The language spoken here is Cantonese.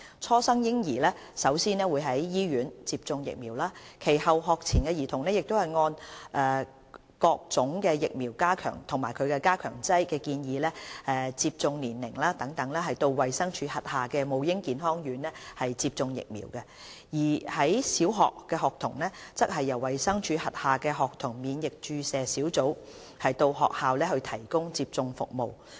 初生嬰兒首先會在醫院接種疫苗，其後學前兒童可按各種疫苗及加強劑建議的接種年齡等到衞生署轄下的母嬰健康院接種疫苗，而小學學童則由衞生署轄下的學童免疫注射小組到學校提供接種服務。